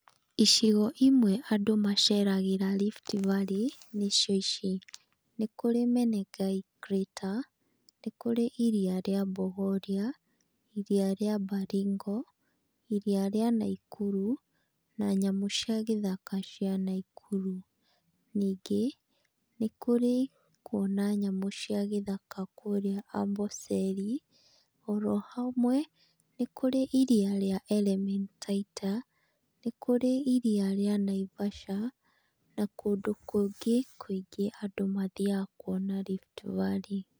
Icigo imwe andũ maceragĩra Rift Valley nĩcio ici: nĩkũrĩ Menengai Crator, nĩkũrĩ iri rĩa Bogoria, iria rĩa Baringo, iria rĩa Nakuru na nyamũ cia gĩthaka cia Nakuru. Ningĩ nĩ kũrĩ kuona nyamũ cia gĩthaka kũrĩa Amboseli, oro hamwe, nĩ kurĩ iria rĩa Elementaita, nĩ kũrĩ iria rĩa Naivasha, na kũndũ kũngĩ kũingĩ andũ mathiaga kuona Rift Valley.